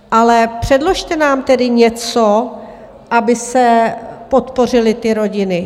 Ale předložte nám tedy něco, aby se podpořily ty rodiny.